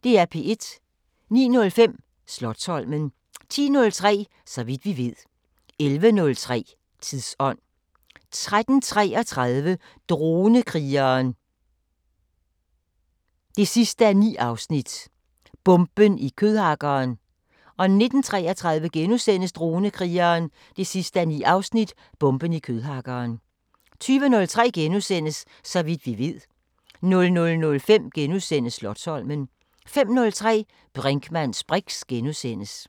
09:05: Slotsholmen 10:03: Så vidt vi ved 11:03: Tidsånd 13:33: Dronekrigeren 9:9 – Bomben i kødhakkeren 19:33: Dronekrigeren 9:9 – Bomben i kødhakkeren * 20:03: Så vidt vi ved * 00:05: Slotsholmen * 05:03: Brinkmanns briks *